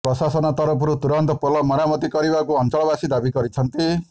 ପ୍ରଶାସନ ତରଫରୁ ତୁରନ୍ତ ପୋଲ ମରାମତି କରିବାକୁ ଅଂଚଳ ବାସୀ ଦାବି କରିଛନ୍ତି